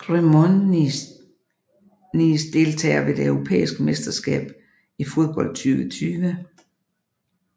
Cremonese Deltagere ved det europæiske mesterskab i fodbold 2020